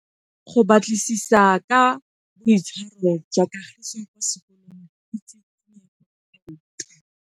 Go batlisisa ka boitshwaro jwa Kagiso kwa sekolong ke tshikinyêgô tota.